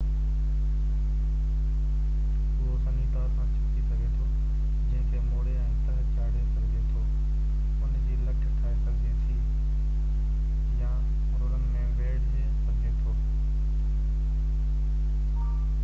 اهو سنهي تار سان ڇڪجي سگهي ٿو جنهن کي موڙي ۽ تهه چاڙِي سگهجي ٿو ان جي لٺ ٺاهي سگهجي ٿي يا رولن ۾ ويڙهي سگهجي ٿو